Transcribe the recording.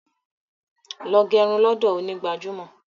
Lọ gẹrun lọ́dọ̀ onígbàjámọ̀